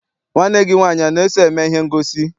Nwanne gị nwaanyị ana-eso eme ihe ngosi?